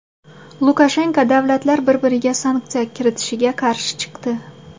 Lukashenko davlatlar bir-biriga sanksiya kiritishiga qarshi chiqdi.